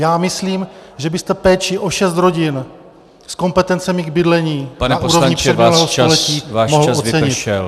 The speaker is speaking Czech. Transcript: Já myslím, že byste péči o šest rodin s kompetencemi k bydlení na úrovni předminulého století mohl ocenit.